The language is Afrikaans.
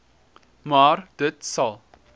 maar dit sal